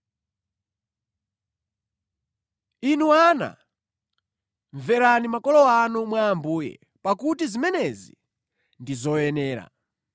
Inu ana, mverani makolo anu mwa Ambuye, pakuti zimenezi ndi zoyenera.